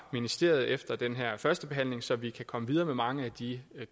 ministeriet efter den her førstebehandling så vi kan komme videre med mange af de